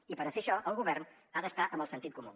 i per fer això el govern ha d’estar amb el sentit comú